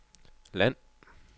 land